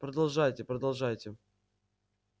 продолжайте продолжайте